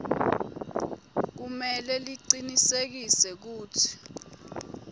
kumele licinisekise kutsi